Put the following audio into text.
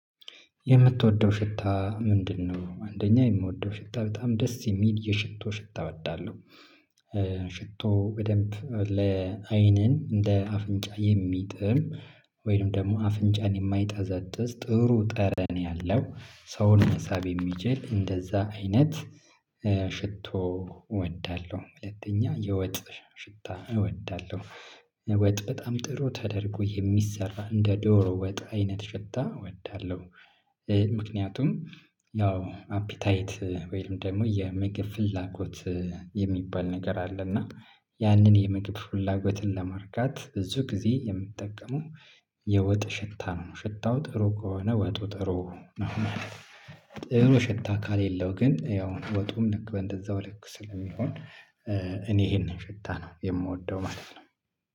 የምትወደው ሽታ ምንድነው? አንደኛ የምወደው ሽታ በጣም ደስ የሚል የሽቶ ሽታ እወዳለሁ። ሽቶ በደንብ ለአይንን እንደ አፍንጫ የሚጥም ወይንም ደግሞ አፍንጫን የማይጠዘጥዝ ጥሩ ጠረን ያለው ሰውን መሳብ የሚችል እንደዛ አይነት ሽቶ እወዳለሁ። ሁለተኛ የወጥ ሽታ እወዳለሁ ወጥ በጣም ጥሩ ተደርጎ የሚሰራ እንደ ዶሮ ወጥ አይነት ሽታ እወዳለሁ። ምክንያቱም ያው አፒታይት ወይም ደግሞ የመግብ ፍላጎት የሚባል ነገር አለ። እና ያንን የምግብ ፍላጎትን ለማርካት ብዙ ጊዜ የምጠቀመው የወጥ ሽታ ነው ሽታው ጥሩ ከሆነ ወጡ ጥሩ ነው ማለት ነው። ጥሩ ሽታ ካሌለው ግን ያው ወጡም ልክ በእንደዛው ልክ ስለሚሆን እኔ ይሄንን ሽታ ነው የምወደው ማለት ነው